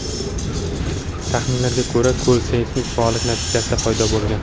Taxminlarga ko‘ra, ko‘l seysmik faollik natijasida paydo bo‘lgan.